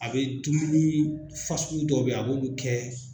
A bɛ dumuni fasugu dɔw bɛ ye a b'olu kɛ.